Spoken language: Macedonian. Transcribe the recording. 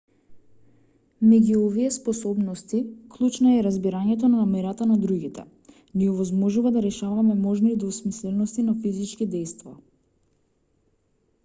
меѓу овие способности клучна е разбирањето на намерата на другите ни овозможува да решаваме можни двосмислености на физички дејства